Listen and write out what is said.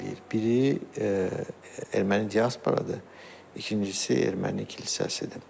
Biri erməni diasporadır, ikincisi erməni kilsəsidir.